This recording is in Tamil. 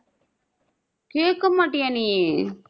கேக்கமாட்டியா நீ